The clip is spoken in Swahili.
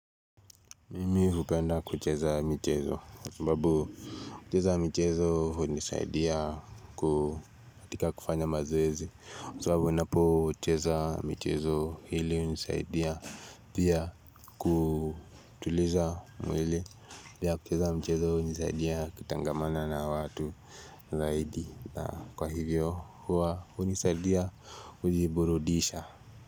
Mimi hupenda kucheza mchezo kwa sababu kucheza mchezo hunisaidia ku katika kufanya mazoezi kwa sababu ninapo cheza mchezo hili hunisaidia Pia kutuliza mwili Pia kucheza mchezo hunisaidia kitangamana na watu Zaidi na kwa hivyo huwa hunisaidia kujiburudisha.